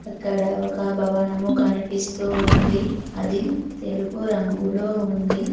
అక్కడ ఒక భవనము కనిపిస్తూ ఉంది అది తెలుపు రంగులో ఉంది.